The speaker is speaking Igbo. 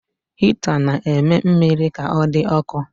Hita na-eme mmiri ka ọ dị ọkụ